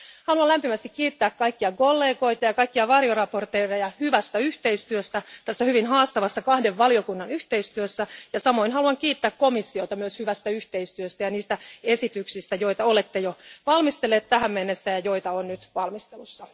Haluan lämpimästi kiittää kaikkia kollegoja ja kaikkia varjoesittelijöitä hyvästä yhteistyöstä tässä hyvin haastavassa kahden valiokunnan yhteistyössä ja samoin haluan kiittää komissiota myös hyvästä yhteistyöstä ja niistä esityksistä, joita olette jo valmistelleet tähän mennessä ja joita on nyt valmistelussa.